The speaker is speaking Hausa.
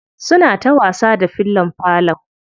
Suna ta wasa da fillon falo.